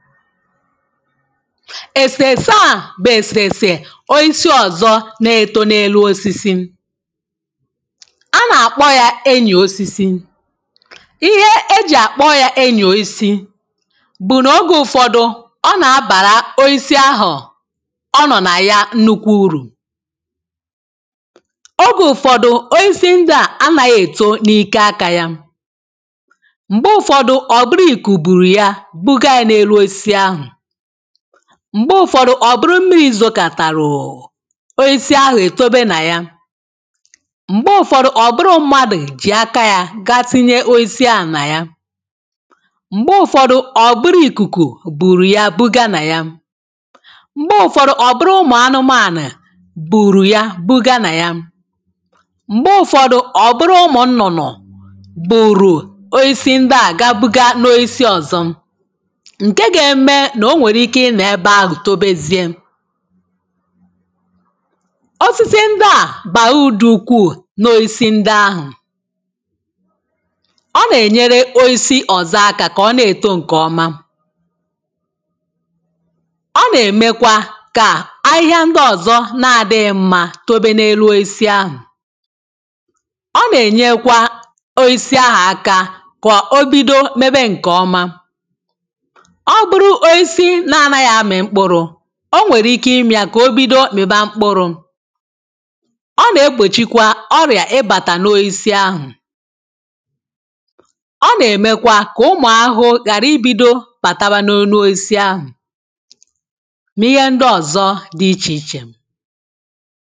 èsèse a bụ̀ èsèsè oisi ọ̀zọ na-èto n’elū osisi a nà-àkpọ ya enyì osisi ihe ejì àkpọ ya enyì osisi bụ̀ nogē ụ̀fọdụ a nà-abàrà oisi ahụ ọ nọ̀ na ya nnukwu urù ogē ụfọdụ̄ oisi ndịa anaghị èto n’ike aka ya m̀gbè ụ̀fọdụ ọ̀ bụrụ iku buru ya bụga ya n’elu osisi ahụ̀ m̀gbe ụ̀fọdụ ò bụrụ mmịrị̄ zokàtarụ̀ oisi ahụ̀ ètobe na yà m̀gbe ụ̀fọdụ ọ̀ bụrụ mmadụ̀ jì aka ya ga tinye oisi ahụ̀ na ya m̀gbe ụ̀fọdu ọ bụrụ ikuku bụrụ ya bụga na ya mgbe ụ̀fọdụ ọ buru umu anụmanụ̀ bùrù ya bụga nà ya m̀gbè ụ̀fọdụ ọ̀ bụrụ umu nnụnụ bùrù oisi ndịa ga buga n’oisi ọ̀zọ ǹkè ga-eme na o nwere ike ịnọ̀ ebe ahụ̀ tobezie osis ndịa baa ụdụ ukwuu n’oisi ndị ahụ̀ ọ nà-ènyere oisi ọ̀zọ akā kà ọ na-èto ǹkè ọma a na-emekwa kà ahịhia ndị ọ̀zọ na-adịghị mmā tobe n’elu oisi ahụ̀ ọ nà-ènyekwa oisi ahụ̀ akā kwà o bido mebe ǹkè ọma ọ bụrụ oasi na-anaghị amị̀ mkpụrụ o nwèrè ike ime ya kà o bido mịba mkpụrụ ọ nà-egbochikwa ọrịà ịbàtàkwa n’oisi ahụ̀ ọ nà-emekwa kà umu ahụhụ ghara ibido bàtawa n’enū oisi ahụ̀ n’ihe ndị ọ̀zọ di ichè ichè